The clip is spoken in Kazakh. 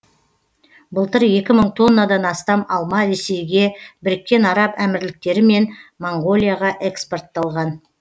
былтыр екі мың тоннадан астам алма ресейге біріккен араб әмірліктері мен моңғолияға экспортталған